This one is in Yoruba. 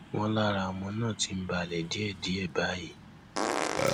wọn lára ọmọ náà ti ń balẹ díẹdíẹ báyìí